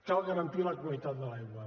cal garantir la qualitat de l’aigua